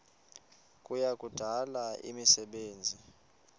kuya kudala imisebenzi